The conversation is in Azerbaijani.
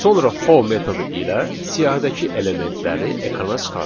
Sonra for metodu ilə siyahıdakı elementləri ekrana çıxardaq.